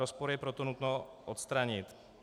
Rozpor je proto nutno odstranit.